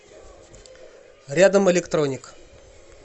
рядом электроник